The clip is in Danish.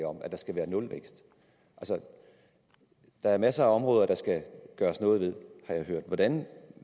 om at der skal være nulvækst der er masser af områder der skal gøres noget ved har jeg hørt hvordan